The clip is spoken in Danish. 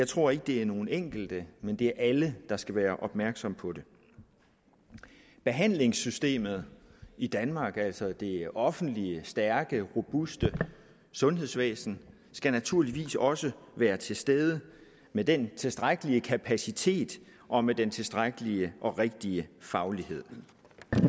tror at det er nogle enkelte men at det er alle der skal være opmærksom på det behandlingssystemet i danmark altså det offentlige stærke robuste sundhedsvæsen skal naturligvis også være til stede med den tilstrækkelige kapacitet og med den tilstrækkelige og rigtige faglighed